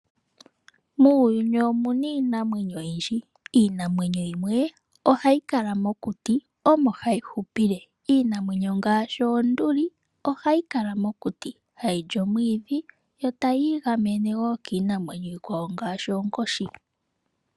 Muuyuni omuna iinamwenyo oyindji. Iinamwenyo yimwe ohayi kala mokuti omo hayihupile. Iinamwenyo ngaashi oonduli ohayi kala mokuti hayili omwiidhi yotayi igamene woo kiinamwenyo iikwawo ngaashi oonkoshi.